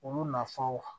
Olu nafanw